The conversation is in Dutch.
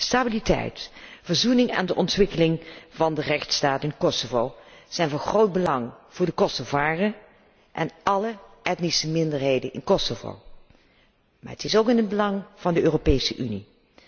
Stabiliteit, verzoening en de ontwikkeling van de rechtsstaat in Kosovo zijn van groot belang voor de Kosovaren en alle etnische minderheden in Kosovo, maar zij zijn ook in het belang van de Europese Unie.